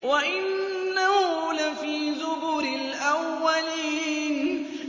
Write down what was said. وَإِنَّهُ لَفِي زُبُرِ الْأَوَّلِينَ